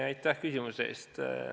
Aitäh küsimuse eest!